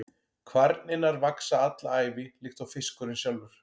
Kvarnirnar vaxa alla ævi líkt og fiskurinn sjálfur.